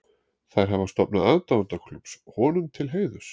Þær hafa stofnað aðdáendaklúbb honum til heiðurs.